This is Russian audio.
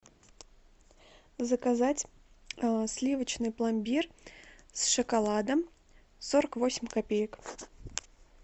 заказать сливочный пломбир с шоколадом сорок восемь копеек